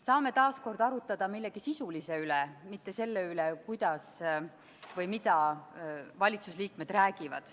Saame taas kord arutada millegi sisulise üle, mitte selle üle, kuidas või mida valitsusliikmed räägivad.